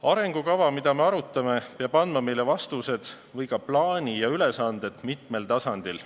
Arengukava, mida me arutame, peab andma meile vastused või ka plaani ja ülesanded mitmel tasandil.